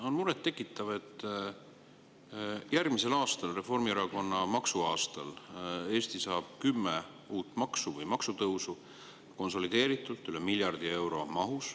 On muret tekitav, et järgmisel aastal, Reformierakonna maksuaastal, saab Eesti kümme uut maksu või maksutõusu konsolideeritud mahus üle miljardi euro.